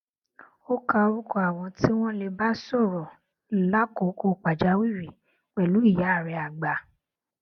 ó ka orúkọ àwọn tí wón lè bá sòrò lákòókò pàjáwìrì pèlú ìyá rè àgbà